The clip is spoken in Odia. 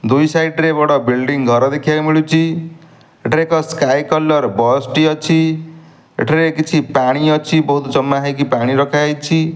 ଦୁଇ ସାଇଟ୍ ରେ ବଡ଼ ବିଲ୍ଡିଂ ଘର ଦେଖିଆକୁ ମିଳୁଚି ଏଟାରେ ଏକ ସ୍କାଏ କଲର୍ ବସ୍ ଟି ଅଛି ଏଠାରେ କିଛି ପାଣି ଅଛି ବହୁତ୍ ଜମା ହେଇକି ପାଣି ରଖା ହେଇଚି।